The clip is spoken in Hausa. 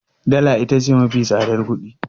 Dala ita ce mafi tsadar kuɗi